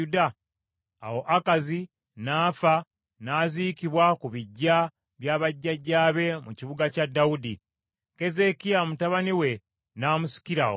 Awo Akazi n’afa n’aziikibwa ku biggya bya bajjajjaabe mu kibuga kya Dawudi. Keezeekiya mutabani we n’amusikira okuba kabaka.